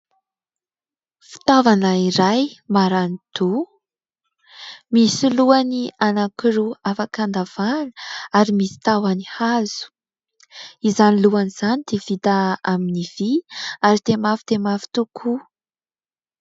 Fitaovana iray maran_doha, misy lohany anakiroa afaka handavahana ary misy tahony hazo. Izany lohany izany dia vita amin'ny vy ary dia mafy dia mafy tokoa.